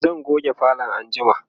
zan goge falon anjima